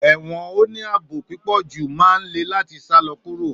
Èwõn óní aabó pípõjú má n lè latí sálõ kúró